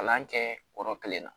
Kalan kɛ yɔrɔ kelen na